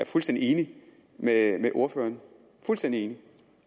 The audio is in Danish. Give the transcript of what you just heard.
fuldstændig enig med ordføreren fuldstændig enig